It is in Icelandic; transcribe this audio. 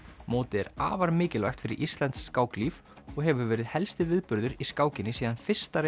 mótið er afar mikilvægt fyrir íslenskt skáklíf og hefur verið helsti viðburður í skákinni síðan fyrsta